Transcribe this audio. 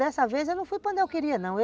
Dessa vez eu não fui para onde eu queria não.